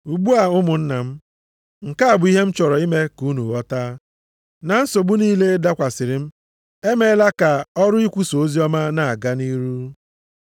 Ugbu a ụmụnna m, nke a bụ ihe m chọrọ ime ka unu ghọta, na nsogbu niile dakwasịrị m emeela ka ọrụ ikwusa oziọma na-aga nʼihu.